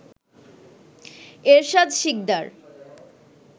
Ershad Sikdar